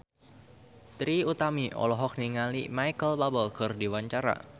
Trie Utami olohok ningali Micheal Bubble keur diwawancara